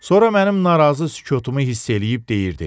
Sonra mənim narazı sükutumu hiss eləyib deyirdi: